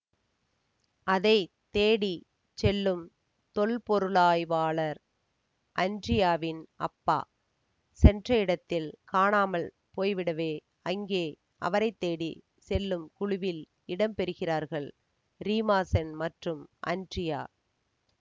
அதை தேடி செல்லும் தொல்பொருளாய்வாளர் அன்ரியாவின் அப்பா சென்ற இடத்தில் காணாமல் போய்விடவே அங்கே அவரை தேடி செல்லும் குழுவில் இடம்பெறுகிறார்கள் ரீமாசென் மற்றும் அன்ரியா